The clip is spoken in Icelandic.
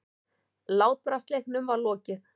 Látbragðsleiknum var lokið.